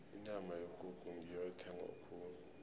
inyama yekukhu ngiyo ethengwa khulu